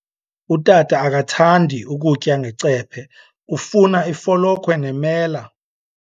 Utata akathandi ukutya ngecephe, ufuna ifolokhwe nemela.